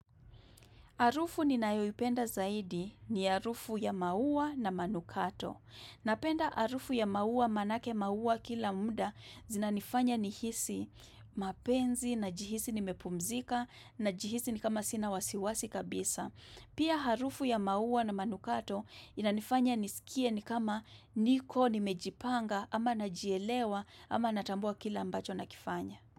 Harufu ninayoipenda zaidi ni harufu ya maua na manukato. Napenda harufu ya maua manake maua kila munda zinanifanya nihisi mapenzi najihisi nimepumzika najihisi ni kama sina wasiwasi kabisa. Pia harufu ya maua na manukato inanifanya nisikie ni kama niko nimejipanga ama najielewa ama natambua kile ambacho nakifanya.